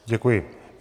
Děkuji.